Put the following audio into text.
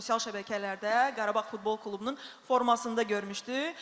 sosial şəbəkələrdə Qarabağ futbol klubunun formasında görmüşdük.